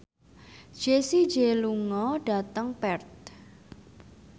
Jessie J lunga dhateng Perth